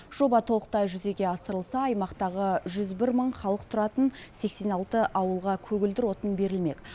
жоба толықтай жүзеге асырылса аймақтағы жүз бір мың халық тұратын сексен алты ауылға көгілдір отын берілмек